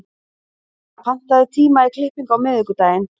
Ragna, pantaðu tíma í klippingu á miðvikudaginn.